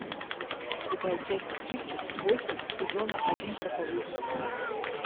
врубай часть тридцать восемь сезона один проповедник